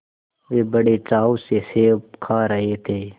वे बड़े चाव से सेब खा रहे थे